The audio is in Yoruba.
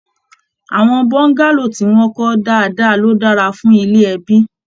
Àwọn bọ́ngálò tí wọn kọ dáadáa ló dára fún ilé ẹbi.